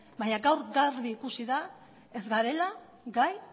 baina gaur garbi ikusi da ez garela gai